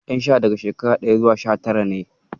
Ƴan sha daga shekara sha ɗaya zuwa sha tara ne.